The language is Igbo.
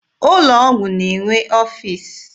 Ụlọ ọgwụ na-enwe ọfiisi.